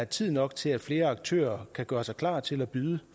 tid nok til at flere aktører kan gøre sig klar til at byde